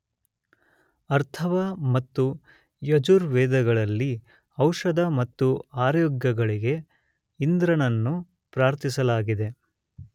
ಅಥರ್ವ ಮತ್ತು ಯಜುರ್ವೇದಗಳಲ್ಲಿ ಔಷಧ ಮತ್ತು ಆರೋಗ್ಯಗಳಿಗೆ ಇಂದ್ರನನ್ನು ಪ್ರಾರ್ಥಿಸಲಾಗಿದೆ.